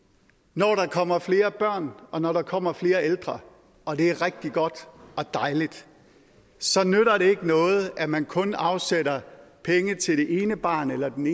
når der kommer flere børn og når der kommer flere ældre og det er rigtig godt og dejligt så nytter det ikke noget at man kun afsætter penge til det ene barn eller den